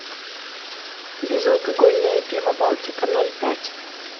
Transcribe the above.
безалкогольное пиво балтика ноль пять